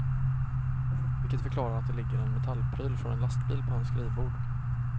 Vilket förklarar att det ligger en metallpryl från en lastbil på hans skrivbord.